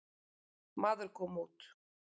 Maður kom út.